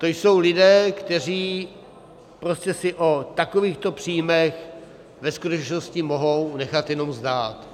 To jsou lidé, kteří prostě si o takovýchto příjmech ve skutečnosti mohou nechat jenom zdát.